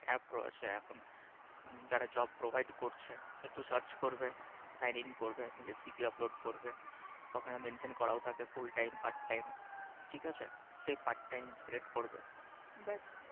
App রয়েছে এখন যারা Job Provide করছে একটু Search করবে Signing করবে নিজের CV Upload করবে ওখানে Mention করাও তাকে Full Time, Part Time ঠিক আছে সে Part Time করবে ব্যাস